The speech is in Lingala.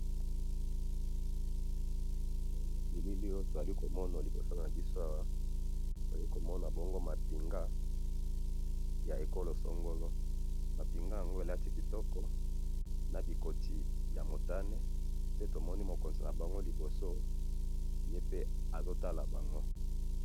he na bilili oyo tozali komona liboso nabiso awa tozali komona bongo mapinga ya ecol songolo, mapinga yango elati kitoko na bikoti ya motane nde tomoni mokonzi nabango liboso azotala bango.